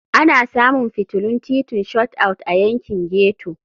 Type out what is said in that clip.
Ana samun fitilun titin Shot Out a yankin ghetto.